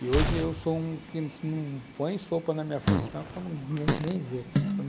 E hoje eu sou um que não põe sopa na minha frente não, que ninguém nem vê.